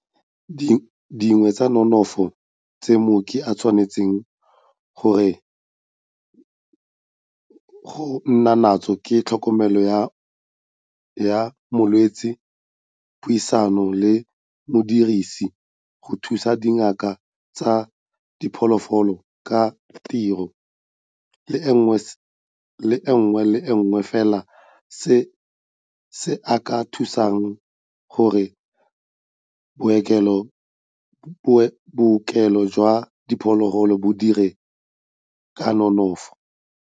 Dingwe tsa dinonofo tse mooki a tshwanetseng go nna natso ke tlhokomelo ya molwetse, puisano le modirisi, go thusa dingaka tsa diphologolo ka ditiro, le sengwe le sengwe fela se se ka thusang gore bookelo jwa diphologolo bo dire ka nonofo.